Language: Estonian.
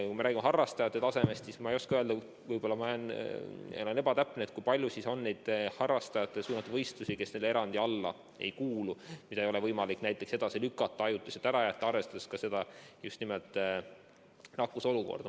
Kui me räägime harrastajate tasemest, siis ma ei oska öelda – ma võin olla ebatäpne –, kui palju on neid harrastajate võistlusi, mis selle piirangu alla ei kuulu, mida ei ole võimalik edasi lükata, ajutiselt ära jätta, arvestades just nimelt nakkuse olukorda.